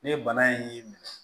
Ne ye bana in y'i minɛ